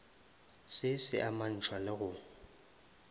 se se amantšhwa le go